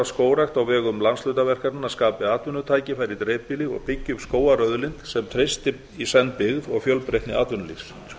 að skógrækt á vegum landshlutaverkefnanna skapi atvinnutækifæri í dreifbýli og byggi upp skógarauðlind sem treysti í senn byggð og fjölbreytni atvinnulífs